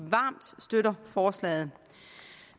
varmt støtter forslaget